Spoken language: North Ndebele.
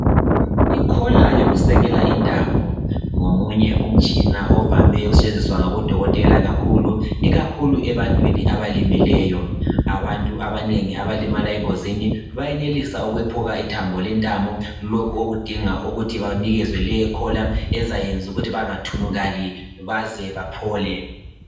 i collar yokusekela intamo ngomunye umtshina ovame ukusetshenziswa ngabo dokotela kakhulu ikakhulu ebantwini abalimeleyo abantu abanengi abalimala engozini bayenelisa ukwephuka ithambo lentamo lokhu okudinga ukuthi banikezwe leyo collar ezakwenza ukuthi bangathunukali baze baphole